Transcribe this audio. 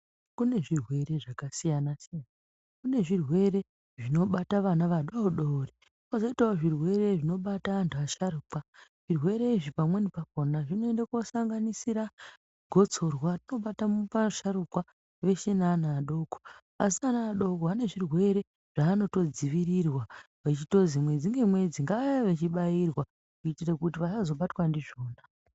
Kune zvirwere zvakasiyana siyana. Kune zvirwere zvinobata vana vadori dori. Kozoitawo zvirwere zvinobata antu asharuka. Zvirwere izvi pamweni pakona zvinoende kosanganisira gotsorwa. Rinobata asharukwa veshe nevana vadoko. Asi vana vadoko vane zvirwere zvaanotodzivirirwa zvichitozi mwedzi nemwedzi' Ngavauye vachibairwa kuti vasazobatwa ndizvona.'